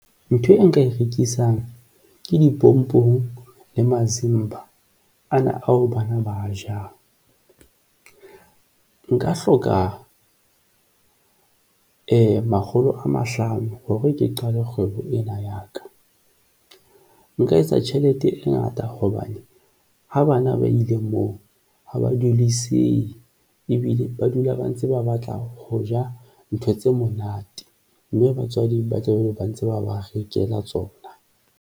Ntho e nka e rekisang ke dipompong le masimba ana ao bana ba jang nka hloka makgolo a mahlano hore ke qale kgwebo ena ya ka. Nka etsa tjhelete e ngata hobane ha bana ba ile moo ha ba duliseha, ebile ba dula ba ntse ba batla ho ja ntho tse monate, mme batswadi ba tlabe ba ntse ba ba rekela tsona.